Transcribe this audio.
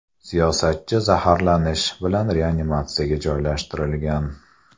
Siyosatchi zaharlanish bilan reanimatsiyaga joylashtirilgan.